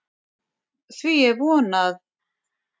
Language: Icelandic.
Því er von, að